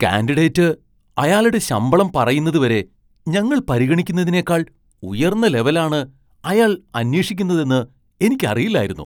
Candidate അയാൾടെ ശമ്പളം പറയുന്നത് വരെ ഞങ്ങൾ പരിഗണിക്കുന്നതിനേക്കാൾ ഉയർന്ന ലെവൽ ആണ് അയാൾ അന്വേഷിക്കുന്നതെന്ന് എനിക്ക് അറിയില്ലായിരുന്നു.